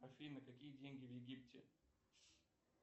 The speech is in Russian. афина какие деньги в египте